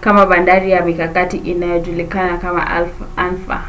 kama bandari ya mikakati iliyojulikana kama anfa